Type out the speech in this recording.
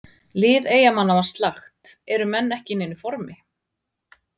Lið Eyjamanna var slakt, eru menn ekki í neinu formi?